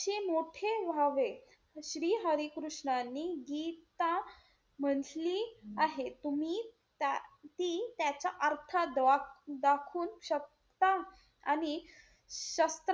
मोठे व्हावे. श्री हरी कृष्णांनी गीता म्हणली आहे. तुम्ही ती~ त्याचा अर्थ ड्या~ दाखवू शकता? आणि श,